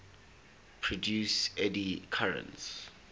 produce eddy currents